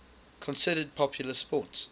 considered popular sports